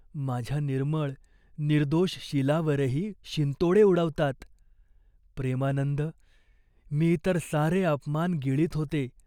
माझ्या निर्मळ, निर्दोष शीलावरही शिंतोडे उडवतात. प्रेमानंद, मी इतर सारे अपमान गिळीत होते.